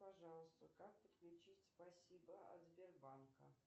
пожалуйста как подключить спасибо от сбербанка